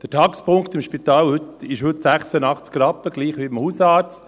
Der Taxpunktwert im Spital liegt heute bei 86 Rappen, gleich wie beim Hausarzt.